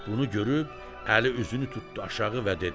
Bunu görüb Əli üzünü tutdu aşağı və dedi: